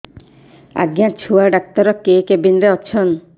ଆଜ୍ଞା ଛୁଆ ଡାକ୍ତର କେ କେବିନ୍ ରେ ଅଛନ୍